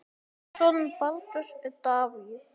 Sonur Baldurs er Davíð.